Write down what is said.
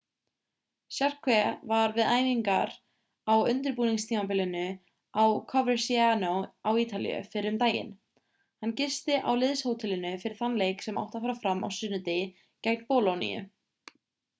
jarque var við æfingar á undirbúningstímabilinu á coverciano á ítalíu fyrr um daginn hann gisti á liðshótelinu fyrir þann leik sem átti að fara fram á sunnudegi gegn bolóníu